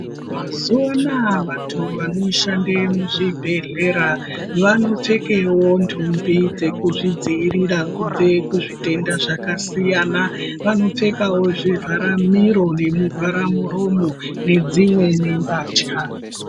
Mazuwanaya vantu vanoshande muzvibhedhlera, vanopfekewo ndumbi dzekuzvidziyirira kubve kuzvitenda zvakasiyana, vanopfekawo zvivhara miro nemuvhara muromo nedzimwewo mbatya.